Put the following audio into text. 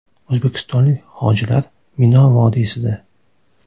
O‘zbekistonlik hojilar Mino vodiysida.